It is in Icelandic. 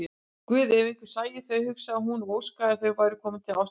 Guð, ef einhver sæi þau, hugsaði hún og óskaði að þau væru komin til Ástralíu.